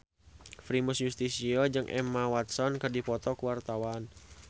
Primus Yustisio jeung Emma Watson keur dipoto ku wartawan